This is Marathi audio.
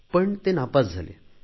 पण ते नापास झाले